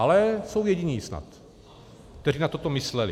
Ale jsou jediní snad, kteří na toto mysleli.